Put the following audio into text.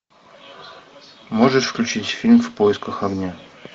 можешь включить фильм в поисках огня